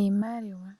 Iimaliwa,